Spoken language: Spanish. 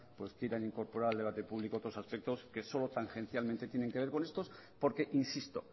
quieran incorporar al debate público otros aspectos que solo tangencialmente tienen que ver con estos porque insisto